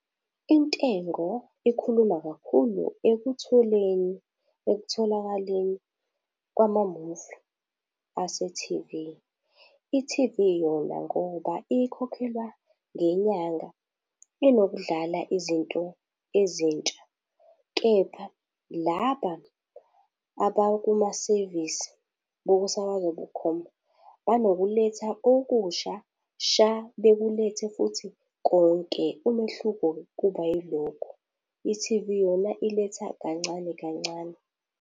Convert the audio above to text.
Intengo ikhuluma kakhulu ekutholeni, ekutholakaleni kwamamuvi ase-T_V. I-T_V yona ngoba ikhokhelwa ngenyanga, inokudlala izinto ezintsha. Kepha laba abakuma sevisi bokusakazwa bukhoma, banokuletha okusha sha bekulethe futhi konke umehluko-ke kuba yilokho. I-T_V yona iletha kancane kancane.